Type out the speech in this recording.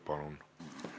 Palun!